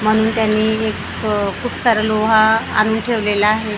म्हणून त्यांनी एक अ खूप सारा लोहा आणून ठेवलेला आहे .